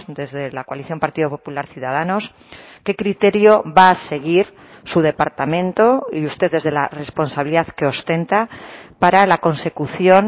desde la coalición partido popular ciudadanos qué criterio va a seguir su departamento y usted desde la responsabilidad que ostenta para la consecución